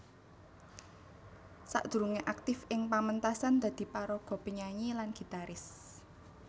Sakdurungé aktif ing paméntasan dadi paraga penyanyi lan gitaris